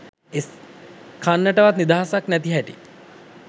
කන්ටවත් නිදහසක් නැති හැටි.